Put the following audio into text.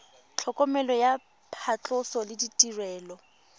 tlhokomelo ya phatlhoso le ditirelo